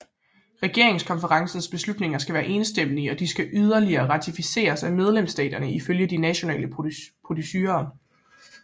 Regeringskonferencens beslutninger skal være enstemmige og de skal yderligere ratificeres af medlemsstaterne ifølge de nationale procedurer